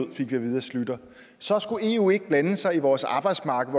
vi fik at vide af schlüter så skulle eu ikke blande sig i vores arbejdsmarked